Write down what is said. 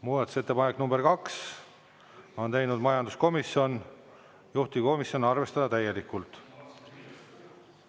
Muudatusettepanek nr 2, on teinud majanduskomisjon, juhtivkomisjon: arvestada täielikult.